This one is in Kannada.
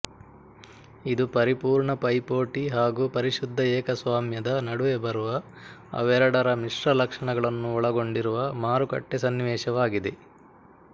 ಇದು ಪರಿಪೂರ್ಣ ಪೈಪೋಟಿ ಹಾಗೂ ಪರಿಶುದ್ಧ ಏಕಸ್ವಾಮ್ಯದ ನಡುವೆ ಬರುವ ಅವೆರಡರ ಮಿಶ್ರ ಲಕ್ಷಣಗಳನ್ನು ಒಳಗೊಂಡಿರುವ ಮಾರುಕಟ್ಟೆ ಸನ್ನಿವೇಶವಾಗಿದೆ